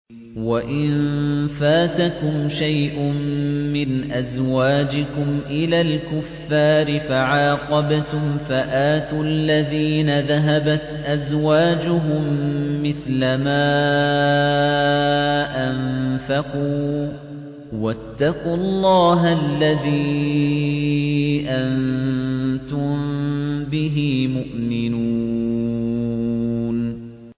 وَإِن فَاتَكُمْ شَيْءٌ مِّنْ أَزْوَاجِكُمْ إِلَى الْكُفَّارِ فَعَاقَبْتُمْ فَآتُوا الَّذِينَ ذَهَبَتْ أَزْوَاجُهُم مِّثْلَ مَا أَنفَقُوا ۚ وَاتَّقُوا اللَّهَ الَّذِي أَنتُم بِهِ مُؤْمِنُونَ